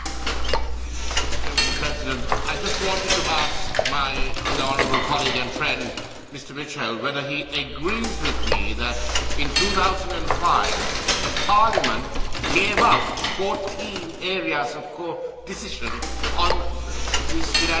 Madam President, I just wanted to ask my honourable colleague and friend, Mr Mitchell, whether he agrees with me that in 2005 Parliament gave up 14 areas of codecision on these financing instruments.